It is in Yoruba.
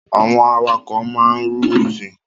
Àwọn awakọ̀ máa ń rú òfin.